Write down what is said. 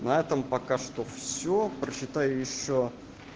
на этом пока что всё прочитаю ещё